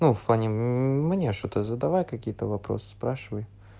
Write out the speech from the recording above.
ну в плане мне что ты задавай какие-то вопросы спрашивай